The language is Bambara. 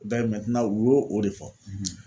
u y'o o de fɔ